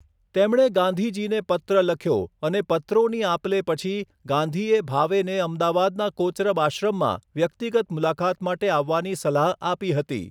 તેમણે ગાંધીજીને પત્ર લખ્યો અને પત્રોની આપ લે પછી, ગાંધીએ ભાવેને અમદાવાદના કોચરબ આશ્રમમાં વ્યક્તિગત મુલાકાત માટે આવવાની સલાહ આપી હતી.